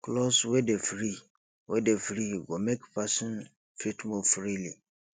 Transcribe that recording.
cloth wey dey free wey dey free go make person fit move freely